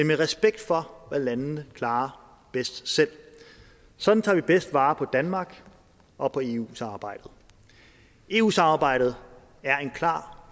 med respekt for hvad landene klarer bedst selv sådan tager vi bedst vare på danmark og på eu samarbejdet eu samarbejdet er en klar